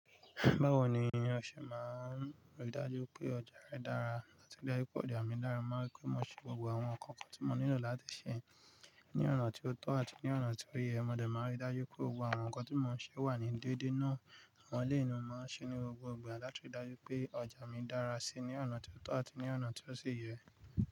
Báwo ni ìránṣẹ́ máa ń rí dájú pé ọjà rẹ dára láti dá ikú ọjà mi lára, máa rí pé mo ṣe gbogbo àwọn nǹkan kan tí mo nílò láti ṣe ní ọ̀nà tí ó tọ́ àti ní ọ̀nà tí ó yẹ. Mo dẹ̀ máa ń rí dájú pé gbogbo àwọn nǹkan tí mò ń ṣe wà ní déédé náà. Àwọn eléyi ni mo máa ń ṣe ní gbogbo ìgbà láti rí dájú pé ọjà mi dára síi ní ọ̀nà tí ó tọ́ àti ní ọ̀nà tí ó sì yẹ.